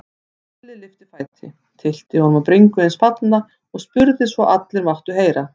Stulli lyfti fæti, tyllti honum á bringu hins fallna og spurði svo allir máttu heyra